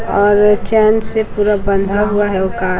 और चैन से पूरा बंधा हुआ है वो कार ।